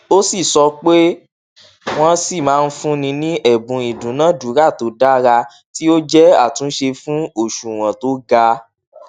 ó si sopéwọn sì máa ń fúnni ní ẹbùn ìdúnàádúrà tó dára tí ó jẹ àtúnṣe fún òṣùwọn tó ga